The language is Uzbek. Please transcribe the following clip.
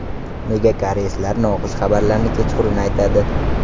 Nega koreyslar noxush xabarlarni kechqurun aytadi?